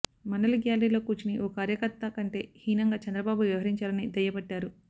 మండలి గ్యాలరీలో కూర్చుని ఓ కార్యకర్త కంటే హీనంగా చంద్రబాబు వ్యవహరించారని దుయ్యబట్టారు